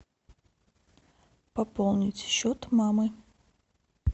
пополнить счет мамы